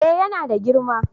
eh yana da girma